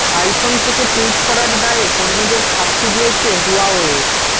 iPhone থেকে tweet করার দায়ে কর্মীদের শাস্তি দিয়েছে হুয়াওয়ে